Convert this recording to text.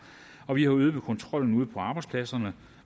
og vi har øget kontrollen ude på arbejdspladserne